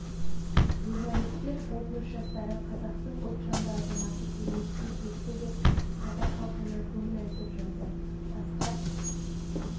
журналистер облыс жастары қазақтың ұлтжанды азаматы келмеске кетті деп қазақ халқына көңіл айтып жатыр асқар